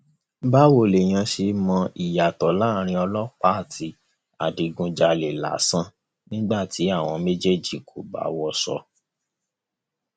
báwo lèèyàn ṣe ń mọ ìyàtọ láàrin ọlọpàá àti adigunjalè lásán nígbà tí àwọn méjèèjì kò bá wọṣọ